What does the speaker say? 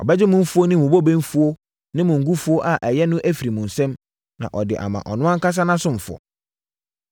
Ɔbɛgye mo mfuo ne mo bobe mfuo ne mo ngo mfuo a ɛyɛ no afiri mo nsam, na ɔde ama ɔno ankasa nʼasomfoɔ.